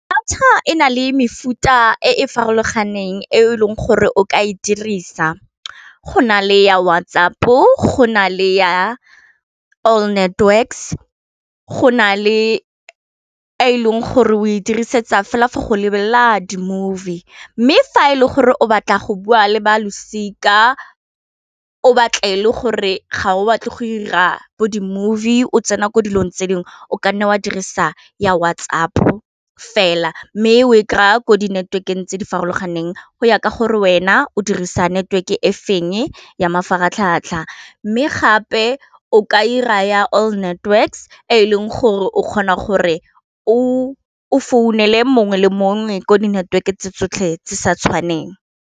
Data e na le mefuta e e farologaneng e leng gore o ka e dirisa go na le ya WhatsApp-o go na le ya all networks go na le e leng gore o e dirisetsa fela forbgo lebelela di-movie, mme fa e le gore o batla go bua le ba losika o batle e le gore ga o batle go ira bo di movie o tsena mo dilong tse dingwe o kanne wa dirisa ya WhatsApp fela, mme o e kry-a ko di network eng tse di farologaneng go ya ka gore wena o dirisa network-e feng ya mafaratlhatlha, mme gape o ka ira ya all network-e, e leng gore o kgona gore o o founele mongwe le mongwe ko di network-e tse tsotlhe tse sa tshwaneng.